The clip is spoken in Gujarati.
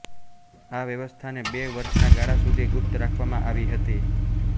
આ વ્યવસ્થાને બે વર્ષના ગાળા સુધી ગુપ્ત રાખવામાં આવી હતી